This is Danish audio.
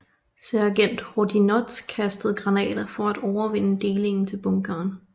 Sergent Hoddinot kastede granater for at overvinde delingen i bunkeren